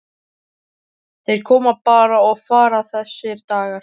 Þeir koma bara og fara þessir dagar.